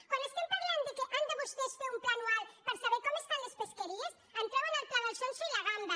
quan estem parlant que han de vos·tès fer un pla anual per saber com estan les pesque·ries em treuen el pla del sonso i la gamba